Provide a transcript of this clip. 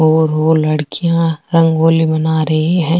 और वो लड़िकया रंगोली बना रही है।